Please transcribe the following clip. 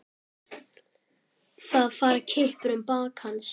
Það fara kippir um bak hans.